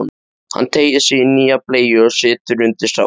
Hann teygir sig í nýja bleyju og setur undir strákinn.